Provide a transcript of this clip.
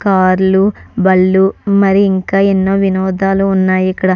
కార్లు బళ్ళు మరి ఇంకా ఎన్నో వినోదాలు ఉన్నాయ్ ఇక్కడ.